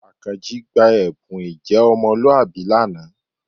Àkànjí gba ẹ̀bùn ìjẹ́ ọmọlúwàbí lánàá